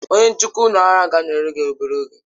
Onye njikwa nnukwu ụlọ ahịa ga-anọnyere gị n'obere oge.